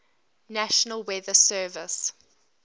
national weather service